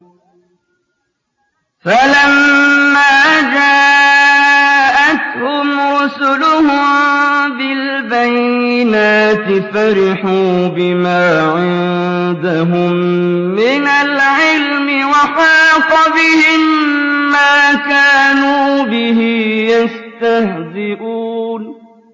فَلَمَّا جَاءَتْهُمْ رُسُلُهُم بِالْبَيِّنَاتِ فَرِحُوا بِمَا عِندَهُم مِّنَ الْعِلْمِ وَحَاقَ بِهِم مَّا كَانُوا بِهِ يَسْتَهْزِئُونَ